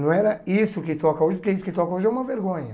Não era isso que toca hoje, porque isso que toca hoje é uma vergonha.